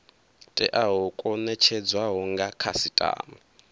teaho kwo netshedzwaho nga khasitama